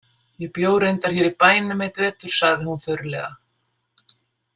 Ég bjó reyndar hér í bænum einn vetur, sagði hún þurrlega.